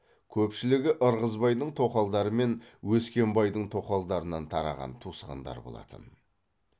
көпшілігі ырғызбайдың тоқалдары мен өскенбайдың тоқалдарынан тараған туысқандар болатын